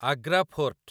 Agra fort